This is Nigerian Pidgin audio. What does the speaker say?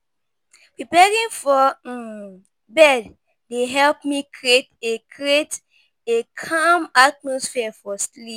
Preparing for um bed dey help me create a calm atmosphere for sleep.